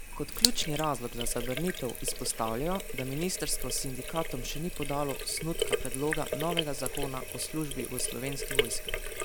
Kot ključni razlog za zavrnitev izpostavljajo, da ministrstvo sindikatom še ni podalo osnutka predloga novega zakona o službi v Slovenki vojski.